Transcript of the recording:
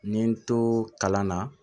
N ye n to kalan na